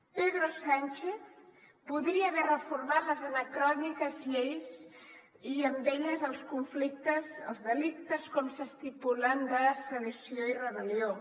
pedro sánchez podria haver reformat les anacròniques lleis i amb elles els delictes com s’estipulen de sedició i rebel·lió